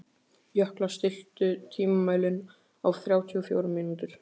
Jökla, stilltu tímamælinn á þrjátíu og fjórar mínútur.